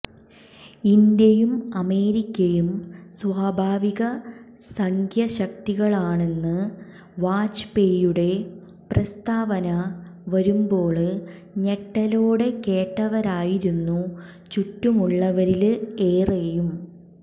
ഇന്ത്യയും അമേരിക്കയും സ്വാഭാവിക സഖ്യശക്തികളാണെന്ന വാജ്പേയിയുടെ പ്രസ്താവന വരുമ്പോള് ഞെട്ടലോടെ കേട്ടവരായിരുന്നു ചുറ്റുമുള്ളവരില് ഏറെയും